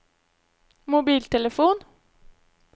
mobiltelefon